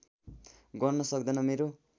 गर्न सक्दैन मेरो